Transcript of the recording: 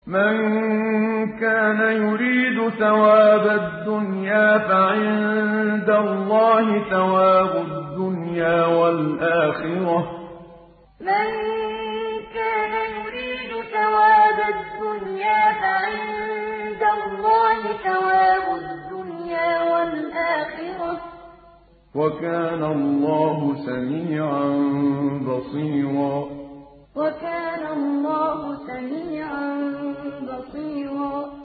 مَّن كَانَ يُرِيدُ ثَوَابَ الدُّنْيَا فَعِندَ اللَّهِ ثَوَابُ الدُّنْيَا وَالْآخِرَةِ ۚ وَكَانَ اللَّهُ سَمِيعًا بَصِيرًا مَّن كَانَ يُرِيدُ ثَوَابَ الدُّنْيَا فَعِندَ اللَّهِ ثَوَابُ الدُّنْيَا وَالْآخِرَةِ ۚ وَكَانَ اللَّهُ سَمِيعًا بَصِيرًا